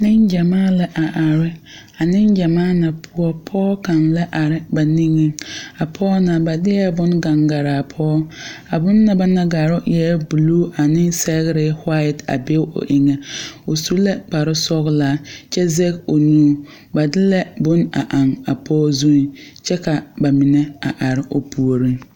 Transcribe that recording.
Ne gyamaa la a are. A ne gyamaa na poʊ, pɔgɔ kang la are ba niŋe. A pɔgɔ na, ba dieɛ boŋ kanga garaa pɔgɔ. A bona ba naŋ garo e buluu ane sɛgre wate a be o eŋe. O su la kparo sɔglaa kyɛ zeg o nuu. Ba de la boŋ a eŋ a pɔgɔ zu kyɛ ka ba mene a are o pooreŋ